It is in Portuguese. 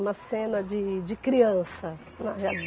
Uma cena de de criança, na